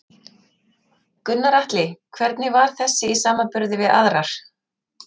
Gunnar Atli: Hvernig var þessi í samanburði við aðrar?